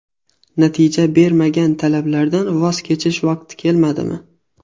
Natija bermagan talablardan voz kechish vaqti kelmadimi?